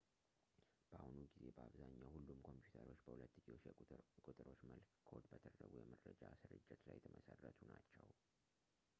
በአሁኑ ጊዜ በአብዛኛው ሁሉም ኮምፒዩተሮች በሁለትዮሽ ቁጥሮች መልክ ኮድ በተደረጉ የመረጃ ሥርጭት ላይ የተመሠረቱ ናቸው